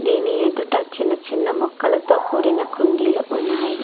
దీని ఎదుట చిన్న చిన్న మొక్కలతో కూడిన కుండీలు ఉన్నాయి.